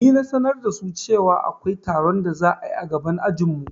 Ni na sanar da su cewa akwai taron da za'ayi a gaban ajinmu